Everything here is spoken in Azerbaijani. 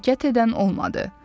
Hərəkət edən olmadı.